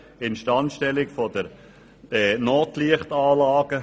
Instandstellung der Notlichtanlagen;